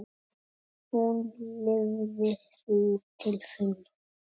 Hún lifði því til fulls.